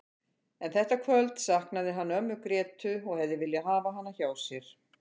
En þetta kvöld saknaði hann ömmu Grétu og hefði viljað hafa hana hjá sér.